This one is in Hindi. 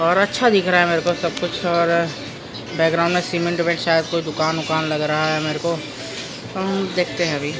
और अच्छा दिख रहा है मेरे को सब कुछ और बैकग्राउंड में सीमेंट उमेंट शायद कोई दुकान उकान लग रहा है मेरे को देखते है अभी।